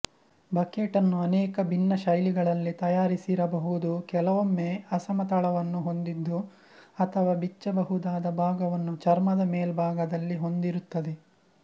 ಬಕೆಟ್ಟನ್ನು ಅನೇಕ ಭಿನ್ನ ಶೈಲಿಗಳಲ್ಲಿ ತಯಾರಿಸಿರಬಹುದು ಕೆಲವೊಮ್ಮೆ ಅಸಮ ತಳವನ್ನು ಹೊಂದಿದ್ದು ಅಥವಾ ಬಿಚ್ಚಬಹುದಾದ ಭಾಗವನ್ನು ಚರ್ಮದ ಮೇಲ್ಭಾಗದಲ್ಲಿ ಹೊಂದಿರುತ್ತದೆ